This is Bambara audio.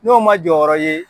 N'o man jɔyɔrɔ ye